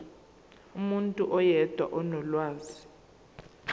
umuntu oyedwa onolwazi